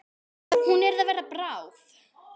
Hún er að verða bráð.